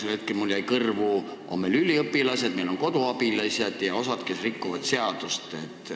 Praegu mulle jäi kõrvu, et meil on üliõpilased ja koduabilised, kellest osa rikub seadust.